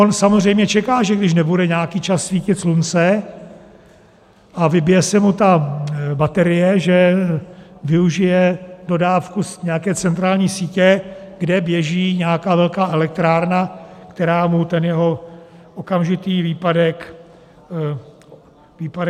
On samozřejmě čeká, že když nebude nějaký čas svítit slunce a vybije se mu ta baterie, že využije dodávku z nějaké centrální sítě, kde běží nějaká velká elektrárna, která mu ten jeho okamžitý výpadek nahradí.